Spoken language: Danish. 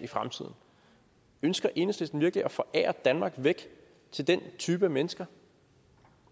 i fremtiden ønsker enhedslisten virkelig at forære danmark væk til den type af mennesker